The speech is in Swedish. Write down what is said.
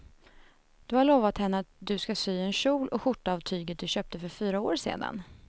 Du har lovat henne att du ska sy en kjol och skjorta av tyget du köpte för fyra år sedan.